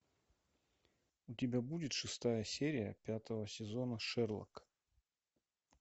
у тебя будет шестая серия пятого сезона шерлок